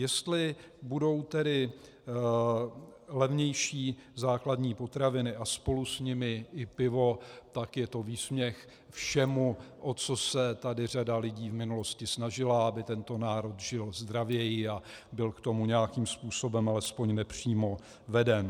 Jestli budou tedy levnější základní potraviny a spolu s nimi i pivo, tak je to výsměch všemu, o co se tady řada lidí v minulosti snažila, aby tento národ žil zdravěji a byl k tomu nějakým způsobem alespoň nepřímo veden.